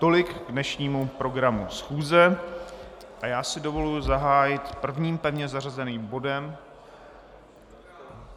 Tolik k dnešnímu programu schůze a já si dovoluji zahájit prvním pevně zařazeným bodem...